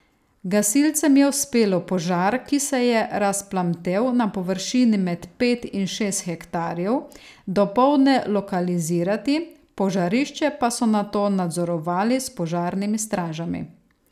Gasilcem je uspelo požar, ki se je razplamtel na površini med pet in šest hektarjev, dopoldne lokalizirati, požarišče pa so nato nadzorovali s požarnimi stražami.